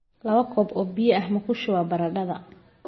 Laba koob oo biyo ah ma ku shubaa baradhada?